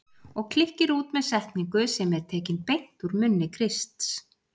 Og klykkir út með setningu sem er tekin beint úr munni Krists